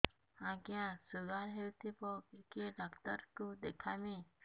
ଆଜ୍ଞା ଶୁଗାର ହେଇଥିବ କେ ଡାକ୍ତର କୁ ଦେଖାମି